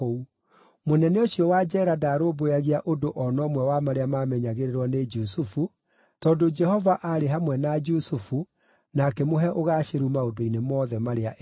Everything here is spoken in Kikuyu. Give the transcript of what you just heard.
Mũnene ũcio wa njeera ndaarũmbũyagia ũndũ o na ũmwe wa marĩa maamenyagĩrĩrwo nĩ Jusufu, tondũ Jehova aarĩ hamwe na Jusufu na akĩmũhe ũgaacĩru maũndũ-inĩ mothe marĩa ekaga.